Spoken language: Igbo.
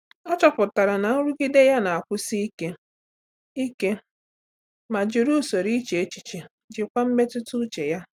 Ọ́ chọ́pụ̀tárà na nrụgide ya na-akwụsi ike ike ma jìrì usoro iche echiche íjíkwá mmetụta úchè ya.